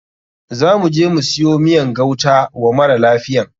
Za muje mu siyo miyan gauta wa mara lafiyan.